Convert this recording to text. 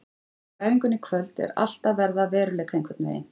Eftir æfinguna í kvöld er allt að verða að veruleika einhvern veginn.